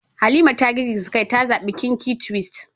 Halima ta girgiza kai ta zabi kinky twist